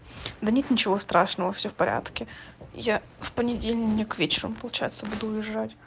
да нет ничего страшного всё в порядке я в понедельник вечером получается буду уезжать